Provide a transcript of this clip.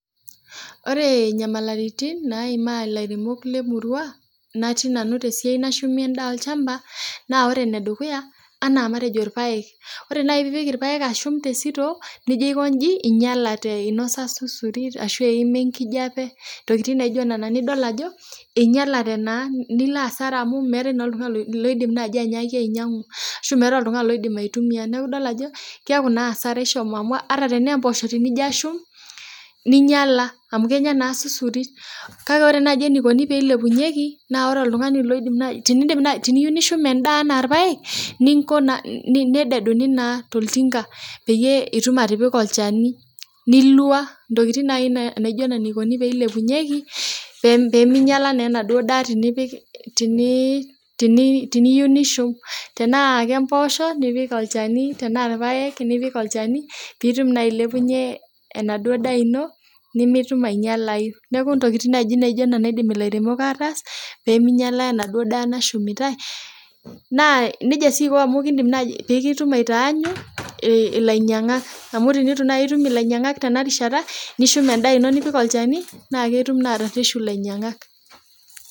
Ore nyamaliritin naimaa ilairemok lemurua natii nanu tesiai nashumi endaa olchamba naa ore enedukuya anaa matejo irpayek ore naaji piipik irpayek ashum te sito nijio aikonji inyialate inosa susuri ashu eima enkijape ntokitin naijo nana nidol ajo einyialate naa nilo asara amu meetae noltung'ani loidim naaji anyiaki ainyiang'u ashu meetae oltung'ani loidim aitumia neku idol ajo asara amu ata tenaa emposho ijio ashum ninyiala amu kenya naa susuri kake ore naji enikoni peilepunyieki naa ore oltung'ani loidim naa tinindim nai tiniyieu nishum endaa anaa irpayek ninko naa nededuni naa toltinka peyie itum atipika olchani nilua intokiting naaji naijo nena eikoni peilepunyieki pe peminyiala naa enaduo daa tinipik tini tiniyieu nishum tenaa kemposho nipik olchani tenaa irpayek nipik olchani piitum naa ailepunyie enaduo daa ino nemitum ainyialai neku ntokiting naaji naijio nena iidim ilairemok ataas peminyiala enaduo daa nashumitae naa nejia sii iko amu kindim naaji pikitum aitaanyu ei ilainyiang'ak amu tinitu naaji itum ilainyiang'ak amu tinitu naaji itum ilainyiang'ak tena rishata nishum endaa ino nipik olchani naa ketum naa atarreshu ilainyiang'ak.